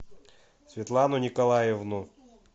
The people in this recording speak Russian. светлану николаевну